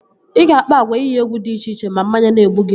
Ị ga-akpa agwa iyi egwu dị iche iche ma mmanya na-egbu gi